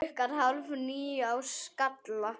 Klukkan hálf níu á Skalla!